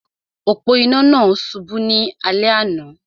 Òpó-inà náà subú ní alé àná